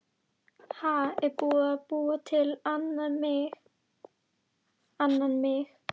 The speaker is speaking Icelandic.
Ha, er búið að búa til annan mig?